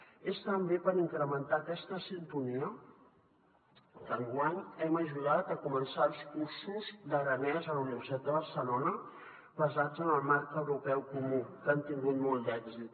és també per incrementar aquesta sintonia que enguany hem ajudat a començar els cursos d’aranès a la universitat de barcelona basats en el marc europeu comú que han tingut molt d’èxit